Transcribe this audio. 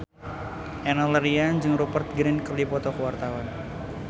Enno Lerian jeung Rupert Grin keur dipoto ku wartawan